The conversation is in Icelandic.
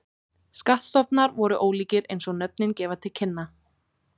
Skattstofnar voru ólíkir eins og nöfnin gefa til kynna.